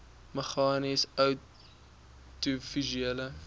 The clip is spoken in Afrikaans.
meganies oudiovisuele